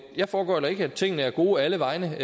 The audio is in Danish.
jeg foregøgler ikke at tingene er gode alle vegne at